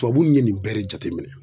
Tubabu ye nin bɛɛ de jateminɛ